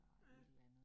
Ja